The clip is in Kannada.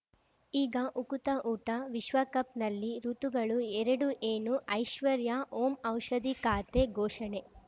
ಈಗ ಉಕುತ ಊಟ ವಿಶ್ವಕಪ್‌ನಲ್ಲಿ ಋತುಗಳು ಎರಡು ಏನು ಐಶ್ವರ್ಯಾ ಓಂ ಔಷಧಿ ಖಾತೆ ಘೋಷಣೆ